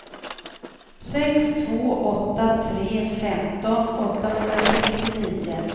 sex två åtta tre femton åttahundrasextionio